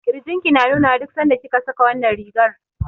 Ƙirjin ki na nuna wa duk sanda kika saka wannan rigar.